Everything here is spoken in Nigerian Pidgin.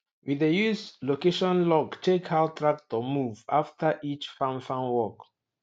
we dey use location log check how tractor move after each farm farm work